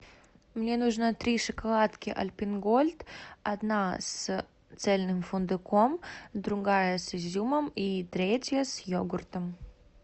мне нужно три шоколадки альпен гольд одна с цельным фундуком другая с изюмом и третья с йогуртом